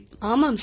ஆமாம் சார்